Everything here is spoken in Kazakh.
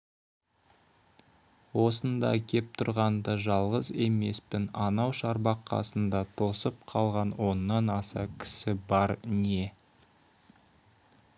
осында кеп тұрғанда да жалғыз емеспін анау шарбақ қасында тосып қалған оннан аса кісі бар не